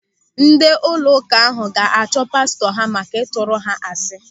Ndị ụlọụka ahụ ga-achụ pastọ ha maka ịtụrụ ha asị.